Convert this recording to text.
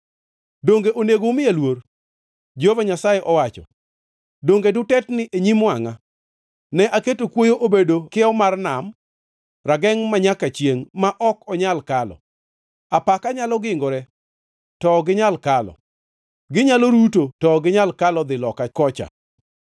Donge onego umiya luor?” Jehova Nyasaye owacho. “Donge dutetni e nyim wangʼa? Ne aketo kuoyo obedo kiewo mar nam, ragengʼ manyaka chiengʼ ma ok onyal kalo. Apaka nyalo gingore, to ok ginyal kalo; ginyalo ruto, to ok ginyal kalo dhi loka kocha.